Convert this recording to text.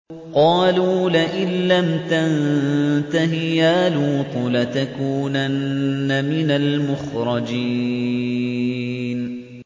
قَالُوا لَئِن لَّمْ تَنتَهِ يَا لُوطُ لَتَكُونَنَّ مِنَ الْمُخْرَجِينَ